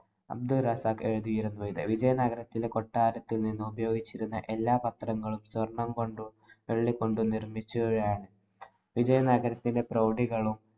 അബ്ദുള്‍ റസാഖ് എഴുതിയിരുന്നു ഇത്. വിജയനഗരത്തിലെ കൊട്ടാരത്തില്‍ ഉപയോഗിച്ചിരുന്ന എല്ലാ പത്രങ്ങളും സ്വര്‍ണ്ണം കൊണ്ടും, വെള്ളി കൊണ്ടും നിര്‍മ്മിച്ചവയാണ്‌. വിജയനഗരത്തിലെ പ്രൌഢികളും